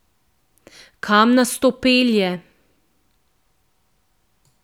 Kam nas to pelje?